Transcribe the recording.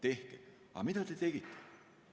Aga mida te tegite?